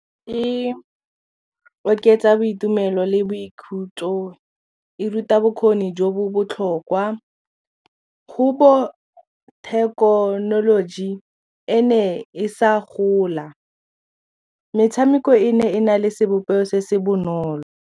E oketsa boitumelo le boikhutso e ruta bokgoni jo bo botlhokwa go bo thekenoloji e ne e sa gola metshameko e ne e na le sebopego se se bonolo.